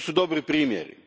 To su dobri primjeri.